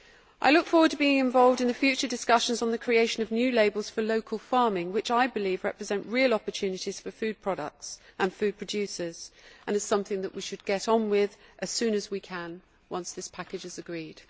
I look forward to being involved in the future discussions on the creation of new labels for local farming, which I believe represent real opportunities for food products and food producers and is something that we should get on with as soon as we can once this package is agreed.